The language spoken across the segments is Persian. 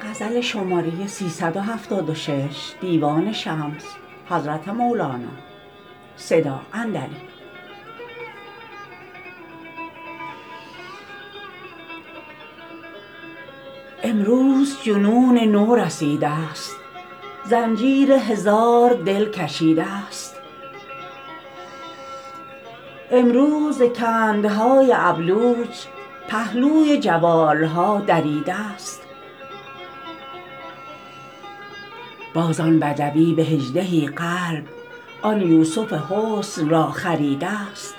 امروز جنون نو رسیده ست زنجیر هزار دل کشیده ست امروز ز کندهای ابلوج پهلوی جوال ها دریده ست باز آن بدوی به هجده ای قلب آن یوسف حسن را خریده ست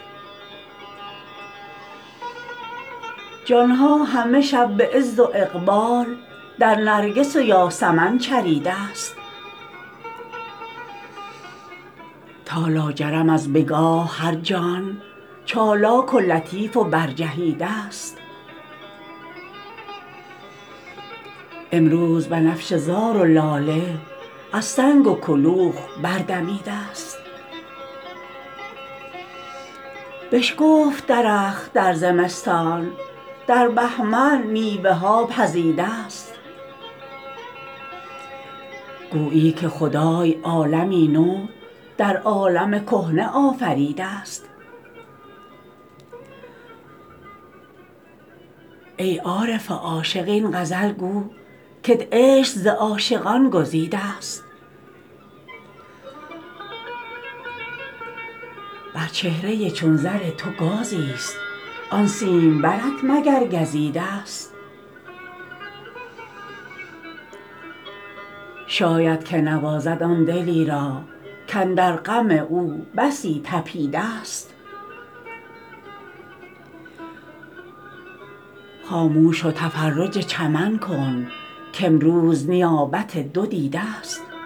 جان ها همه شب به عز و اقبال در نرگس و یاسمن چریده ست تا لاجرم از بگاه هر جان چالاک و لطیف و برجهیده ست امروز بنفشه زار و لاله از سنگ و کلوخ بردمیده ست بشکفت درخت در زمستان در بهمن میوه ها پزیده ست گویی که خدای عالمی نو در عالم کهنه آفریده ست ای عارف عاشق این غزل گو کت عشق ز عاشقان گزیده ست بر چهره چون زر تو گازیست آن سیمبرت مگر گزیده ست شاید که نوازد آن دلی را کاندر غم او بسی طپیده ست خاموش و تفرج چمن کن کامروز نیابت دو دیده ست